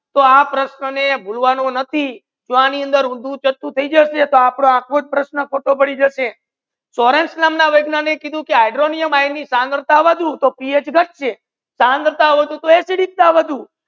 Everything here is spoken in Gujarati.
તો આ પ્રશ્ના ને ભૂલવાનો નથી તો આ પ્રશ્ના ને ભૂલવાનો નાથી જો આની અંદર ઉંધું ચપટુ થઈ જસે તો આપડો આખો પ્રશ્ના ખોટી પડી જાસે સોર્સેન નામ ના વૈજ્ઞાનિક કિધુ કે હાઇડ્રોનિયમ ની સાંદ્રતા વધુ થી પીએચ ગતસે સાંદ્રતા વધુ થી એસિડિકતા વધુ